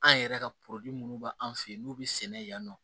An yɛrɛ ka minnu bɛ an fɛ yen n'u bɛ sɛnɛ yan nɔ